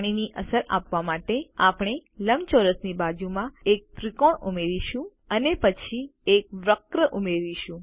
પાણીની અસર આપવા માટે આપણે લંબચોરસની બાજુમાં એક ત્રિકોણ ઉમેરીશું અને પછી એક વક્ર ઉમેરીશું